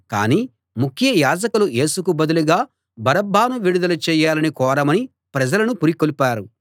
కాని ముఖ్య యాజకులు యేసుకు బదులుగా బరబ్బను విడుదల చెయ్యాలని కోరమని ప్రజలను పురికొల్పారు